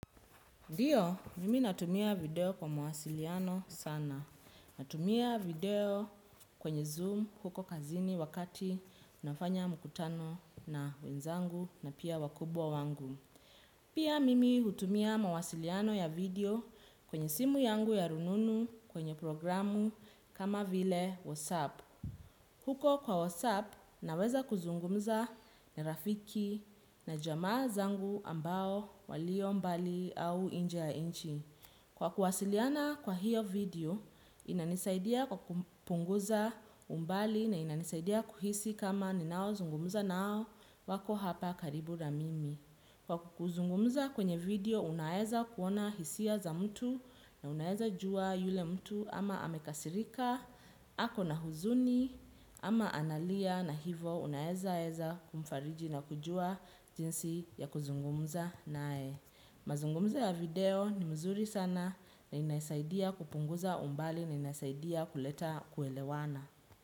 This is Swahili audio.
Ndiyo, mimi natumia video kwa mawasiliano sana. Natumia video kwenye zoom huko kazini wakati nafanya mkutano na wenzangu na pia wakubwa wangu. Pia mimi hutumia mawasiliano ya video kwenye simu yangu ya rununu kwenye programu kama vile WhatsApp. Huko kwa WhatsApp, naweza kuzungumza na rafiki na jamaa zangu ambao walio mbali au inje ya inchi. Kwa kuwasiliana kwa hiyo video, inanisaidia kwa kupunguza umbali na inanisaidia kuhisi kama ninao zungumza nao wako hapa karibu na mimi. Kwa kuzungumza kwenye video unaeza kuona hisia za mtu na unaeza jua yule mtu ama amekasirika, ako na huzuni ama analia na hivo unaeza eza kumfariji na kujua jinsi ya kuzungumza naye. Mazungumzo ya video ni mzuri sana na inasaidia kupunguza umbali na inaisaidia kuleta kuelewana.